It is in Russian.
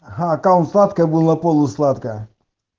а там сладкая была полусладкая